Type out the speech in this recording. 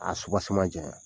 A jaɲa.